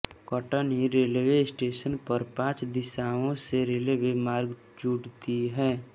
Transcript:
Katni railway station पर पांच दिशाओं से रेलवे मार्ग जुड़ती हैं